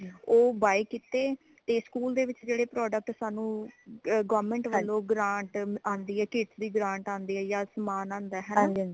ਓ buy ਕੀਤੇ ਤੇ school ਦੇ ਵਿਚ ਜੇੜੇ product ਸਨ ਓ government ਵਲੋਂ grant ਆਂਦੀ ਹੈ ਕੇਸਰੀ grantਆਂਦੀ ਹੈ ਯਾ ਸਮਾਨ ਆਂਦਾ ਹੈ ਹੈ ਨਾ